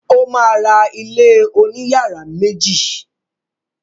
O ma ra ilé òní yàrá méjì.